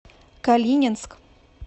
калининск